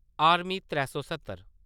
army त्रैऽसौ सत्तर